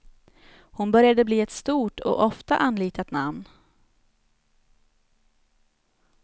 Hon började bli ett stort och ofta anlitat namn.